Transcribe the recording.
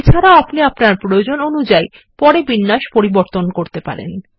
এছাড়াও আপনিআপনারপ্রয়োজন অনুযায়ী পরেবিন্যাস পরিবর্তন করতে পারেন